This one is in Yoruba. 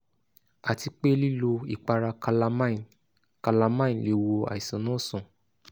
àti pé lílo ìpara calamine calamine lè wo àìsàn náà sàn